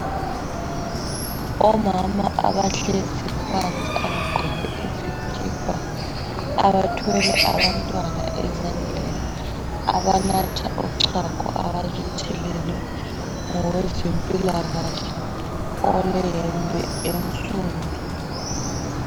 Omama abahlezi phansi abagqoke izikipa, abathwele abantwana ezandleni, abanatha uchago abaluthelelwe ngowezempilakahle oleyembe ensundu.